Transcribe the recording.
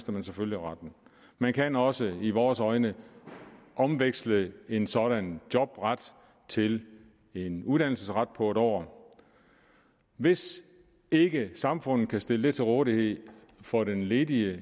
man selvfølgelig retten man kan også i vores øjne omveksle en sådan jobret til en uddannelsesret på en år hvis ikke samfundet kan stille det til rådighed for den ledige